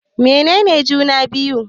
Mene ne juna-biyu?